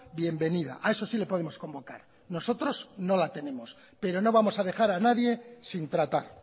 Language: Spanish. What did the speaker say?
bienvenida a eso sí le podemos convocar nosotros no la tenemos pero no vamos a dejar a nadie sin tratar